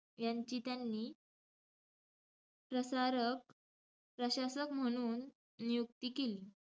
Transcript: यांची त्यांनी प्रसारक~ प्रशासक म्हणून नियुक्ती केली.